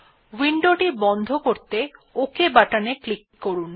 window টি বন্ধ করতে OK বাটন এ ক্লিক করুন